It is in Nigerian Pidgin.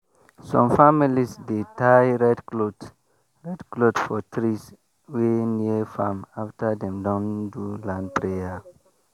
some families dey tie red cloth red cloth for trees wey near farm after dem don do land prayer.